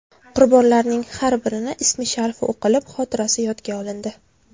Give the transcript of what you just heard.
Qurbonlarning har birini ismi-sharifi o‘qilib, xotirasi yodga olindi.